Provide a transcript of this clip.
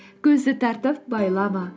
көзді тартып байлама